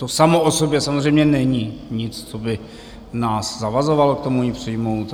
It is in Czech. To samo o sobě samozřejmě není nic, co by nás zavazovalo k tomu ji přijmout.